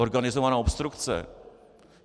Organizovaná obstrukce!